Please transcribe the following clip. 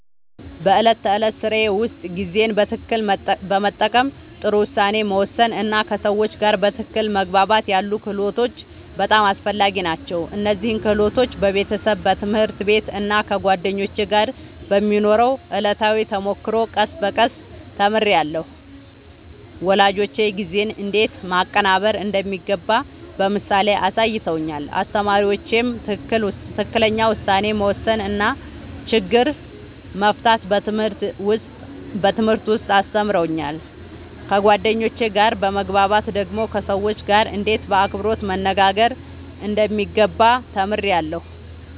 በዕለት ተዕለት ሥራዬ ውስጥ ጊዜን በትክክል መጠቀም፣ ጥሩ ውሳኔ መወሰን እና ከሰዎች ጋር በትክክል መግባባት ያሉ ክህሎቶች በጣም አስፈላጊ ናቸው። እነዚህን ክህሎቶች በቤተሰብ፣ በትምህርት ቤት እና ከጓደኞች ጋር በሚኖረው ዕለታዊ ተሞክሮ ቀስ በቀስ ተምሬያለሁ። ወላጆቼ ጊዜን እንዴት ማቀናበር እንደሚገባ በምሳሌ አሳይተውኛል፣ አስተማሪዎቼም ትክክለኛ ውሳኔ መወሰን እና ችግር መፍታት በትምህርት ውስጥ አስተምረውኛል። ከጓደኞቼ ጋር በመግባባት ደግሞ ከሰዎች ጋርእንዴት በአክብሮት መነጋገር እንደሚገባ ተምሬያለሁ።